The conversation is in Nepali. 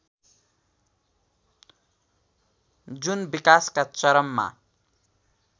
जुन विकासका चरममा